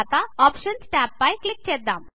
options tab పై click చేద్దాం